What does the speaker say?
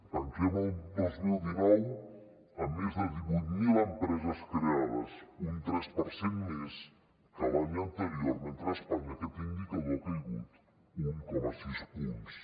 tanquem el dos mil dinou amb més de divuit mil empreses creades un tres per cent més que l’any anterior mentre que a espanya aquest indicador ha caigut un coma sis punts